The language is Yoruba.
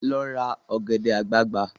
Lọ ra ọ̀gẹ̀dẹ̀ àgbagbà!